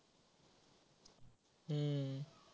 हम्म